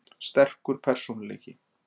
Sterkur persónuleiki.